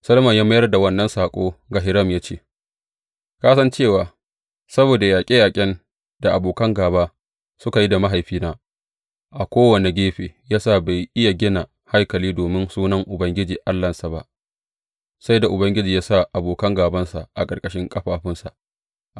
Solomon ya mayar da wannan saƙo ga Hiram ya ce, Ka san cewa saboda yaƙe yaƙen da abokan gāba suka yi da mahaifina a kowane gefe, ya sa bai iya gina haikali domin Sunan Ubangiji Allahnsa ba, sai da Ubangiji ya sa abokan gābansa a ƙarƙashin ƙafafunsa.